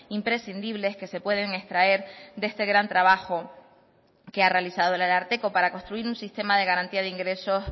imprescindibles que se pueden extraer de este gran trabajo que ha realizado el ararteko para construir un sistema de garantía de ingresos